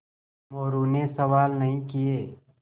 मोरू ने सवाल नहीं किये